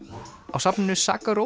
á safninu